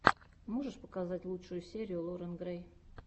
можешь показать лучшую серию лорен грэй